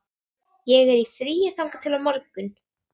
Ég er í fríi þangað til á morgun.